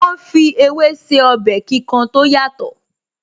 Wọ́n ń fi ewé se ọbẹ̀ kíkan tó yàtọ̀